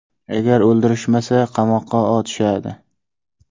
Agar o‘ldirishmasa, qamoqqa otishadi.